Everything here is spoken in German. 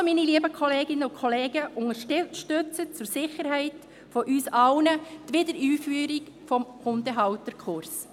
Also, meine lieben Kolleginnen und Kollegen: Unterstützen Sie zur Sicherheit von uns allen die Wiedereinführung des Hundehalterkurses.